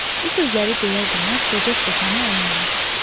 Bu sözləri deyər-deməz qoca stəkanı əlinə aldı.